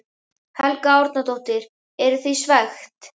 Helga Arnardóttir: Eru þið svekkt?